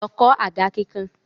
Lọ kọ̀ àga kíkàn!